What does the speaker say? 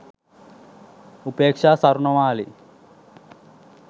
upeaksha sawarnamali